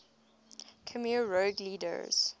khmer rouge leaders